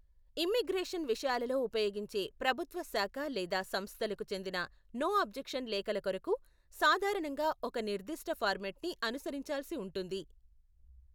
Immigration విషయాలలో ఉపయోగించే ప్రభుత్వ శాఖ లేదా సంస్థలకు చెందిన నో అబ్జెక్షన్ లేఖల కొరకు సాధారణంగా ఒక నిర్ధిష్ట ఫార్మెట్ని అనుసరించాల్సి ఉంటుంది.